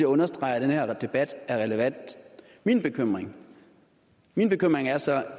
understreger at den her debat er relevant min bekymring min bekymring er så